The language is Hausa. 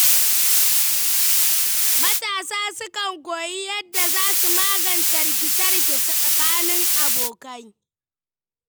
Matasa sukan koyi yadda za su magance rikice-rikice tsakanin abokai.